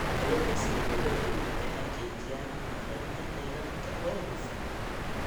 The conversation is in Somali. Kalluumeysiga dowladdu waxay xaqiijiyaan maareynta kheyraadka oo hufan.